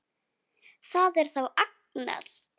Það er þá Agnes!